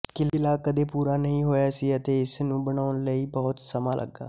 ਕਿਲ੍ਹਾ ਕਦੇ ਪੂਰਾ ਨਹੀਂ ਹੋਇਆ ਸੀ ਅਤੇ ਇਸ ਨੂੰ ਬਣਾਉਣ ਲਈ ਬਹੁਤ ਸਮਾਂ ਲੱਗਾ